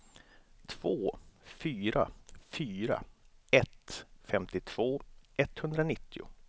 två fyra fyra ett femtiotvå etthundranittio